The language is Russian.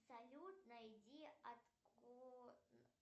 салют найди